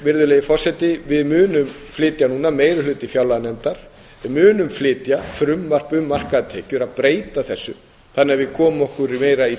virðulegi forseti við munum flytja núna meiri hluti fjárlaganefndar við munum flytja frumvarp um markaðar tekjur að breyta þessu þannig að við komum okkur meira í